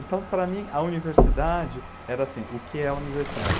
Então, para mim, a universidade era assim, o que é a universidade?